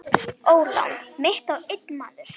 Ólán mitt á einn maður.